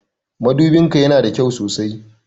Madubin ka ya na da kyau sosai.